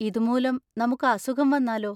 ഇതുമൂലം നമുക്ക് അസുഖം വന്നാലോ?